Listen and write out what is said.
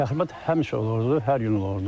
Təxribat həmişə olurdu, hər gün olurdu.